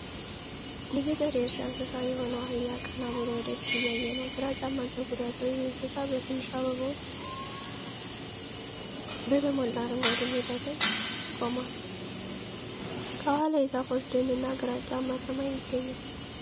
የገጠር የእርሻ እንስሳ የሆነው አህያ ቀና ብሎ ወደፊት እያየ ነው። ግራጫማ ፀጉር ያለው ይህ እንስሳ በትንሽ አበባዎች በተሞላ አረንጓዴ ሜዳ ላይ ቆሟል። ከኋላው የዛፎች ደንና ግራጫማ ሰማይ ይገኛል።